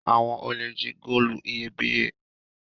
Awọn olè jí góòlù iyebíye